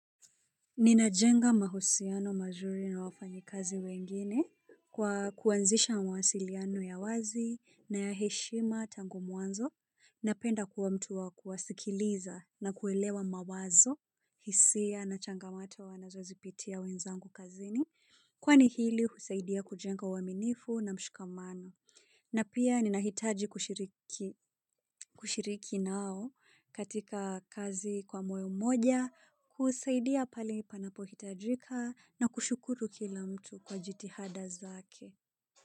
Ninajenga mahusiano mazuri na wafanyikazi wengine kwa kuanzisha mawasiliano ya wazi na ya heshima tangu mwanzo, napenda kuwa mtu wa kuwasikiliza na kuelewa mawazo, hisia na changamato wanazozipitia wenzangu kazini, kwani hili husaidia kujenga uaminifu na mshikamano. Na pia ninahitaji kushiriki nao katika kazi kwa moyo moja kusaidia pale panapohitajika na kushukuru kila mtu kwa jitihada zake.